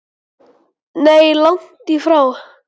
Nei, langt í frá.